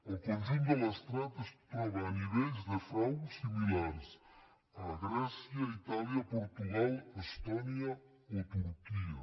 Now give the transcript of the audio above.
el conjunt de l’estat es troba a ni·vells de frau similars a grècia itàlia portugal estò·nia o turquia